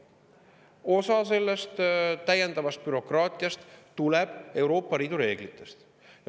Osa täiendavast bürokraatiast tuleneb Euroopa Liidu reeglitest.